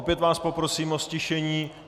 Opět vás poprosím o ztišení.